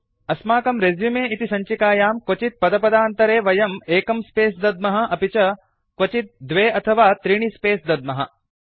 अस्माकं रेसुमे इति सञ्चिकायां क्वचित् पदपदान्तरे वयं एकं स्पेस् दद्मः अपि च क्वचित् द्वे अथवा त्रीणि स्पेस् दद्मः